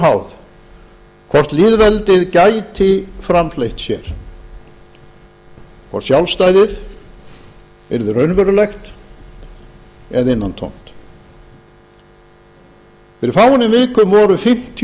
háð hvort lýðveldið gæti framfleytt sér hvort sjálfstæðið yrði raunverulegt eða innantómt fyrir fáeinum vikum voru fimmtíu